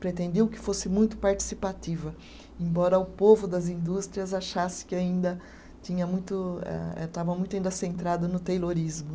Pretendiam que fosse muito participativa, embora o povo das indústrias achasse que ainda tinha muito eh, estava muito ainda centrado no Taylorismo.